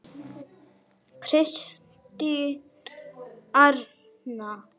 Kristín Arna.